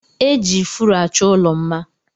E ji ifuru achọ ụlọ mma